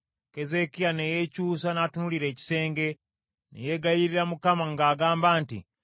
Keezeekiya ne yeekyusa n’atunuulira ekisenge, ne yeegayirira Mukama ng’agamba nti,